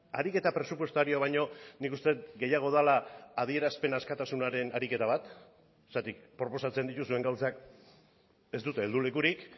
ariketa presupuestarioa baino nik uste dut gehiago dela adierazpen askatasunaren ariketa bat zergatik proposatzen dituzuen gauzak ez dute heldu lekurik